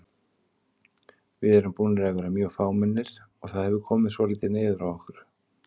Við erum búnir að vera mjög fámennir og það hefur komið svolítið niður á okkur.